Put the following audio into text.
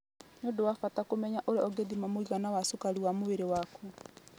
Nĩ ũndũ wa bata kũmenya ũrĩa ũngĩthima mũigana wa cukari wa mwĩrĩ waku.